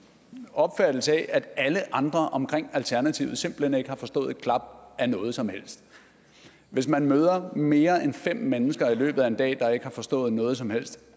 opfattelse af at alle andre omkring alternativet simpelt hen ikke har forstået et klap af noget som helst hvis man møder mere end fem mennesker i løbet af en dag der ikke har forstået noget som helst